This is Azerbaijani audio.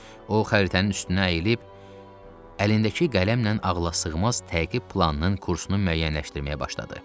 O xəritənin üstünə əyilib, əlindəki qələmlə ağla sığmaz təqib planının kursunu müəyyənləşdirməyə başladı.